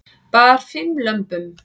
Bar fimm lömbum